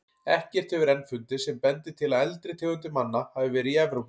Ekkert hefur enn fundist sem bendir til að eldri tegundir manna hafi verið í Evrópu.